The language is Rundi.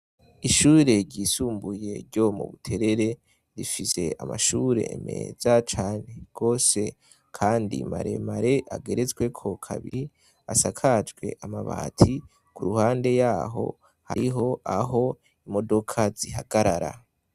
Ishure ryisumbuye ryo mu Buterere rifise amashure meza cane gose kandi maremare ageretsweko kabiri, asakajwe amabati. Ku ruhande yaho hariho aho imodoka zihagarara.